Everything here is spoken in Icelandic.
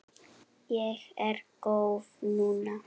Ég er góð núna.